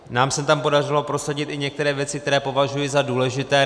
Nám se tam podařilo prosadit i některé věci, které považuji za důležité.